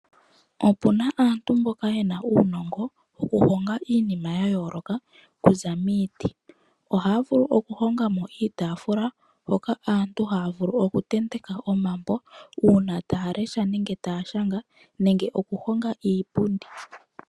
Opuna aantu mboka yena uunongo wokuhonga iinima okuza miiti, ohaya vulu okuhongamo iitafula hoka aantu haya vulu okutenteka omambo. Uuna aantu taya lesha nenge taya shanga, nenge okuhonga iipundi.